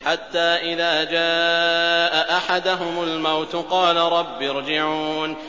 حَتَّىٰ إِذَا جَاءَ أَحَدَهُمُ الْمَوْتُ قَالَ رَبِّ ارْجِعُونِ